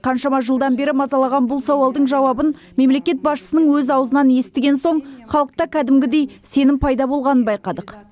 қаншама жылдан бері мазалаған бұл сауалдың жауабын мемлекет басшысының өз аузынан естіген соң халықта кәдімгідей сенім пайда болғанын байқадық